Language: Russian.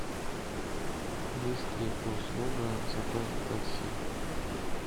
есть ли услуга заказа такси